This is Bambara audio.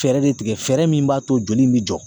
Fɛɛrɛ de tigɛ, fɛɛrɛ min b'a to joli in bi jɔ.